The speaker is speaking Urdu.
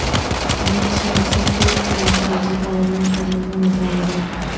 امت شاہ سے پھر کیا فوج تعینات کرنے کا مطالبہ